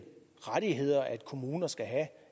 rettigheder kommuner skal have